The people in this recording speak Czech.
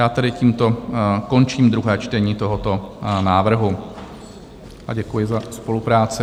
Já tedy tímto končím druhé čtení tohoto návrhu a děkuji za spolupráci.